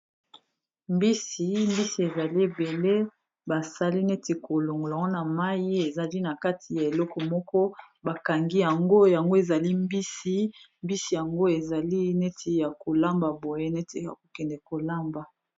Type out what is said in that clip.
Mbisi ezali ebele basali neti kolongola yango mai, ezali na kati ya eleko moko bakangi yango, mbisi yango ezali neti ya kolamba, boye neti ya kokende kolamba.